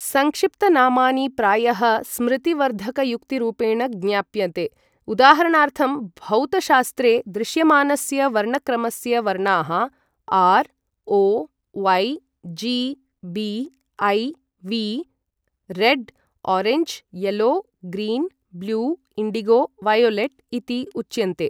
सङ्क्षिप्तनामानि प्रायः स्मृतिवर्धकयुक्तिरूपेण ज्ञाप्यते, उदाहरणार्थं, भौतशास्त्रे दृश्यमानस्य वर्णक्रमस्य वर्णाः R O Y. G. B I V red orange yellow green blue indigo violet इति उच्यन्ते।